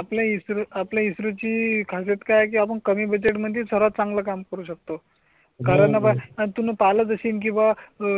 आपल्या इस्रो आपल्या इस्रो ची खासियत काय आहे की आपण कमी बजेट मध्ये सर्वात चांगलं काम करू शकतो कारण तुन पाहिलंच असेल कि ब